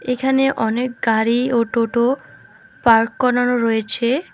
এখানে অনেক গাড়ি ও টোটো পার্ক করানো রয়েছে।